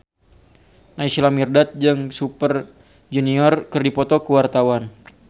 Naysila Mirdad jeung Super Junior keur dipoto ku wartawan